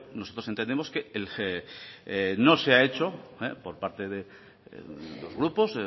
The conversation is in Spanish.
nosotros entendemos que no se ha hecho por parte de los grupos